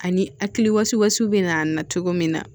Ani hakilisiwaso bɛ na cogo min na